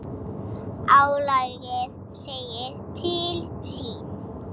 Álagið segir til sín.